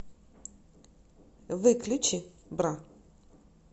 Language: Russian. выключи бра